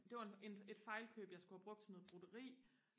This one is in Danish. det var en et fejlkøb jeg skulle have brugt til noget broderi